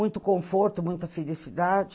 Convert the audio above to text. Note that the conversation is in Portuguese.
Muito conforto, muita felicidade.